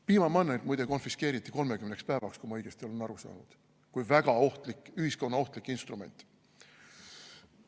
Piimamannerg, muide, konfiskeeriti 30 päevaks, kui ma õigesti olen aru saanud, kui väga ohtlik, ühiskonnaohtlik instrument.